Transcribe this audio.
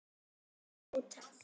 hafði mótað.